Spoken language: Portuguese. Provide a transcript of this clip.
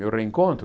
Meu reencontro?